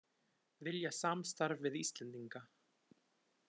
Vilja samstarf við Íslendinga